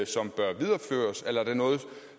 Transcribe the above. som bør videreføres eller er det noget